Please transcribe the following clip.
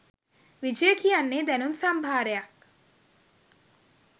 විජය කියන්නේ දැනුම් සම්භාරයක්